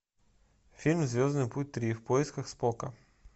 фильм звездный путь три в поисках спока